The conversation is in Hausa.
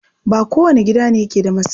Ba kowane gida ne yake da masai ba.